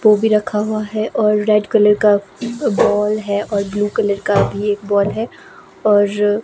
वो भी रखा हुआ है और रेड कलर का बॉल है और ब्लू कलर का भी एक बॉल है और --